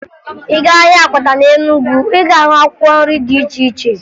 Ị gaa ahịa akwata na Enugu, ị ga-ahụ akwkwọ nri dị iche iche